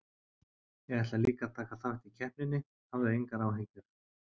Ég ætla líka að taka þátt í keppninni, hafðu engar áhyggjur.